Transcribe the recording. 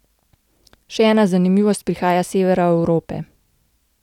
Še ena zanimivost prihaja s severa Evrope.